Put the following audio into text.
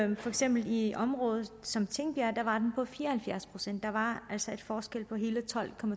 den for eksempel i et område som tingbjerg var på fire og halvfjerds procent der var altså en forskel på hele tolv